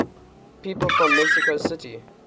people from mexico city